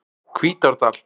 Hvítárdal